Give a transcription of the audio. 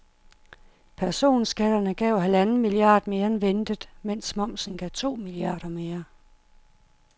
Personskatterne gav halvanden milliard mere end ventet, mens momsen gav to milliarder mere.